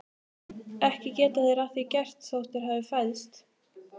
Ekki geta þeir að því gert þótt þeir hafi fæðst.